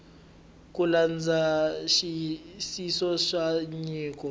ku landza nxiyisiso wa nyiko